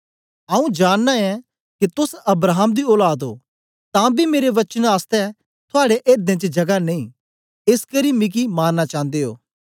आऊँ जानना ऐं के तोस अब्राहम दी औलाद ओ तां बी मेरे वचन आसतै थुआड़े एर्दें च जगा नेई एसकरी मिगी मारना चांदे ओ